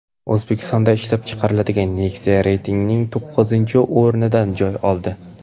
O‘zbekistonda ishlab chiqarilgan Nexia reytingning to‘qqizinchi o‘rnidan joy oldi.